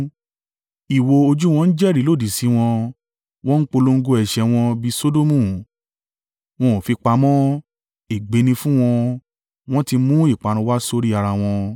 Ìwò ojú wọn ń jẹ́rìí lòdì sí wọn, wọ́n ń polongo ẹ̀ṣẹ̀ wọn bí i Sodomu; wọn ò fi pamọ́! Ègbé ni fún wọn! Wọ́n ti mú ìparun wá sórí ara wọn.